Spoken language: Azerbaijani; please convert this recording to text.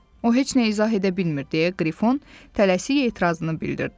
O heç nə izah edə bilmir, deyə Qrifon tələsik etirazını bildirdi.